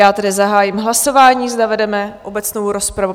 Já tedy zahájím hlasování, zda vedeme obecnou rozpravu.